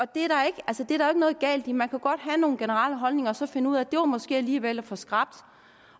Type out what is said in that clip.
det er der ikke noget galt i man kan jo godt have nogle generelle holdninger og så finde ud af at det måske alligevel var for skrapt